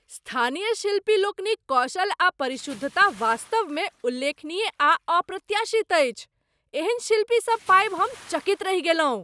स्थानीय शिल्पी लोकनिक कौशल आ परिशुद्धता वास्तवमे उल्लेखनीय आ अप्रत्याशित अछि। एहन शिल्पी सब पाबि हम चकित रहि गेलहुँ।